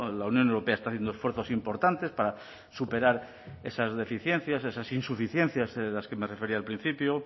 la unión europea está haciendo esfuerzos importantes para superar esas deficiencias esas insuficiencias a las que me refería al principio